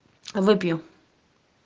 выпью